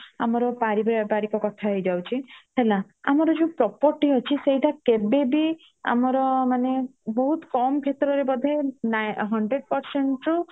ଆମର ପାରିବାରିକ କଥା ହେଇ ଯାଉଚି ହେଲା ଆମର property ଅଛି ସେଟା କେବେବି ଆମର ମାନେ ବହୁତୁ କମ ଭିତରେ ବଧେ Hundred percent ରୁ